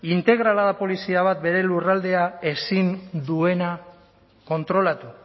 integrala da polizia bat bere lurraldea ezin duena kontrolatu